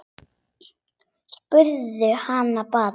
Spurðu hann bara.